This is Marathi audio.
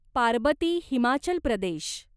पारबती हिमाचल प्रदेश